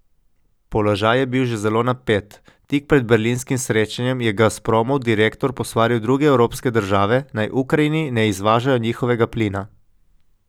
Položaj je bil že zelo napet, tik pred berlinskim srečanjem je Gazpromov direktor posvaril druge evropske države, naj Ukrajini ne izvažajo njihovega plina.